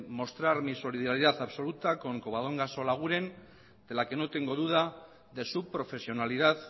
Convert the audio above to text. mostrar mi solidaridad absoluta con covadonga solaguren de la que no tengo duda de su profesionalidad